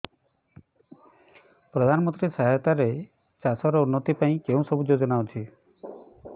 ପ୍ରଧାନମନ୍ତ୍ରୀ ସହାୟତା ରେ ଚାଷ ର ଉନ୍ନତି ପାଇଁ କେଉଁ ସବୁ ଯୋଜନା ଅଛି